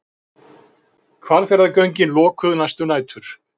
Hvalfjarðargöngin lokuð næstu nætur